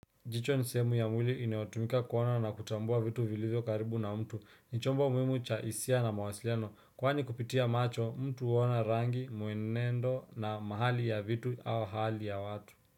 Jicho ni sehemu ya mwili inayotumika kuona na kutambua vitu vilizo karibu na mtu. Ni chombo muhimu cha hisia na mawasiliano. Kwani kupitia macho, mtu huona rangi, mwenendo na mahali ya vitu au hali ya watu.